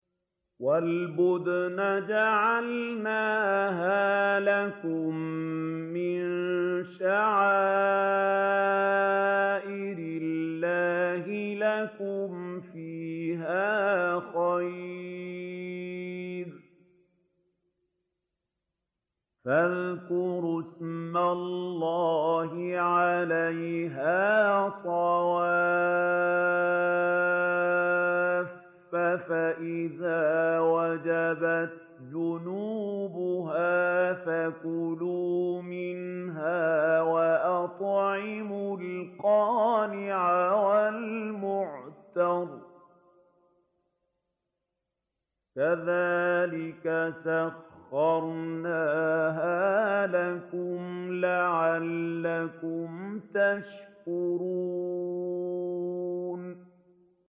وَالْبُدْنَ جَعَلْنَاهَا لَكُم مِّن شَعَائِرِ اللَّهِ لَكُمْ فِيهَا خَيْرٌ ۖ فَاذْكُرُوا اسْمَ اللَّهِ عَلَيْهَا صَوَافَّ ۖ فَإِذَا وَجَبَتْ جُنُوبُهَا فَكُلُوا مِنْهَا وَأَطْعِمُوا الْقَانِعَ وَالْمُعْتَرَّ ۚ كَذَٰلِكَ سَخَّرْنَاهَا لَكُمْ لَعَلَّكُمْ تَشْكُرُونَ